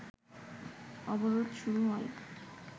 অবরোধ শুরু হয়